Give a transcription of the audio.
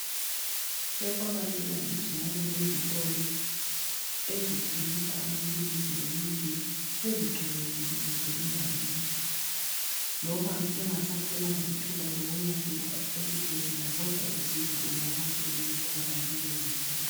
sekwabalula kithi ngoba lezitolo esezithengisa amaphilisi imithi sezigcwele jikelele indawoyonke loba ungasatholanga ithuba lokufika esibhedlela kodwa usizo uyakwazi ukulithola kulezi tolo